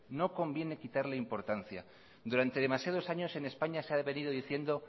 durante demasiados años en españa se ha venido diciendo